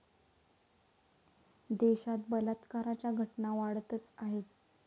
देशात बलात्काराच्या घटना वाढतच आहेत.